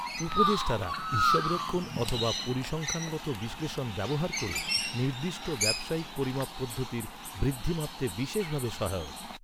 উপদেষ্টারা হিসাবরক্ষণ অথবা পরিসংখ্যানগত বিশ্লেষণ ব্যবহার ক’রে নির্দিষ্ট ব্যবসায়িক পরিমাপ পদ্ধতির বৃদ্ধি মাপতে বিশেষ ভাবে সহায়ক।